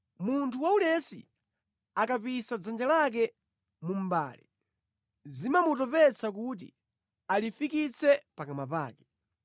Munthu waulesi akapisa dzanja lake mu mʼbale; zimamutopetsa kuti alifikitse pakamwa pake.